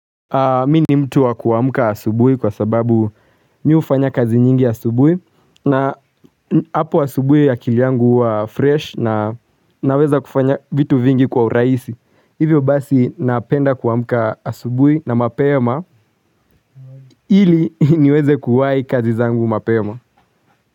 Mimi ni mtu wa kuamuka asubuhi kwa sababu mimi hufanya kazi nyingi asubuhi na hapo asubuhi akili yangu huwa fresh na naweza kufanya vitu vingi kwa urahisi, hivyo basi napenda kuamuka asubuhi na mapema ili niweze kuwai kazi zangu mapema.